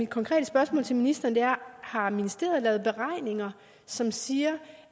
konkrete spørgsmål til ministeren er har ministeriet lavet beregninger som siger